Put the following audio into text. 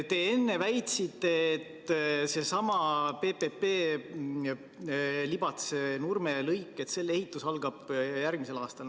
Te enne väitsite, et seesama PPP, Libatse–Nurme lõik, selle ehitus algab järgmisel aastal.